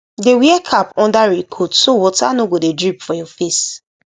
dey wear cap under raincoat so water no go dey drip for your face